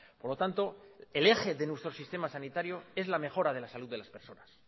por lo tanto el eje de nuestro sistema sanitario es la mejora de las salud de las personas